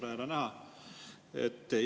Tore jälle näha!